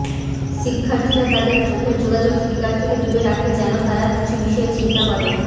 শিক্ষার্থীরা তাদের চোখের যোগাযোগ স্পিকার থেকে দূরে রাখে যেন তারা কিছু বিষয়ে চিন্তা করে